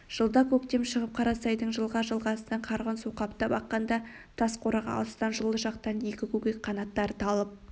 жылда көктем шығып қарасайдың жылға-жылғасынан қарғын су қаптап аққанда тас қораға алыстан жылы жақтан екі көкек қанаттары талып